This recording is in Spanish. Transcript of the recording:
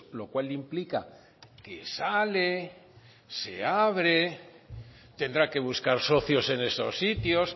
lo cual implica que sale se abre tendrá que buscar socios en esos sitios